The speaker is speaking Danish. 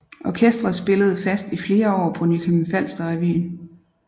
Orkestret spillede fast i flere år på Nykøbing Falster Revyen